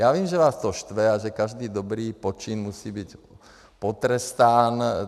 Já vím, že vás to štve a že každý dobrý počin musí být potrestán.